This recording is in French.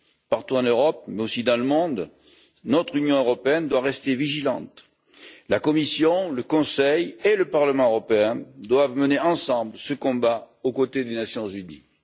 Partout en Europe, mais aussi dans le monde, notre Union européenne doit rester vigilante la Commission, le Conseil et le Parlement européen doivent mener ensemble ce combat aux côtés des Nations unies.